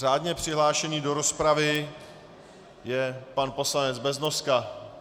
Řádně přihlášený do rozpravy je pan poslanec Beznoska.